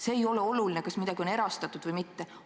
See ei ole oluline, kas midagi on erastatud või mitte.